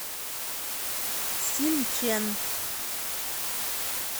синчэн